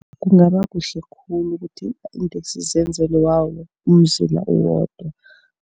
Kungaba kuhle khulu ukuthi iinteksi zenzelwe wawo umzila uwodwa.